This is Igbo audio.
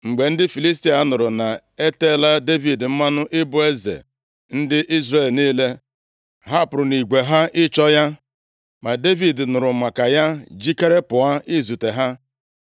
Mgbe ndị Filistia nụrụ na eteela Devid mmanụ ị bụ eze ndị Izrel niile, ha pụrụ nʼigwe ha ịchọ ya. Ma Devid nụrụ maka ya, jikere pụọ izute ha.